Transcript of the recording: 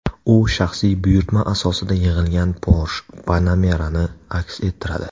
U shaxsiy buyurtma asosida yig‘ilgan Porsche Panamera’ni aks ettiradi.